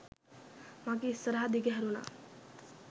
මගේ ඉස්සරහ දිගහැරුණා